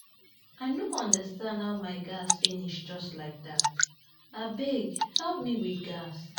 I no understand how my gas finish just like dat, abeg help me with gas